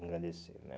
Me engrandecer, né?